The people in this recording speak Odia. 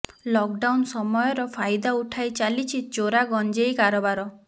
ଲକଡାଉନ ସମୟର ଫାଇଦା ଉଠାଇ ଚାଲିଛି ଚୋରା ଗଞ୍ଜେଇ କାରବାର